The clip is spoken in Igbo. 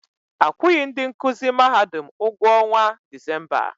Akwughi ndị nkụzi Mahadum ụgwọ ọnwa Disemba.